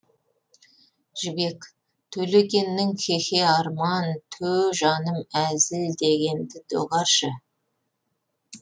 жібек төлегеннің хехеарман тө жаным әзілдегенді доғаршы